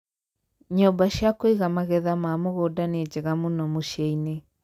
nyũmba cia Kũiga magetha ma mũgũnda nĩ njega mũno mũcĩi-inĩ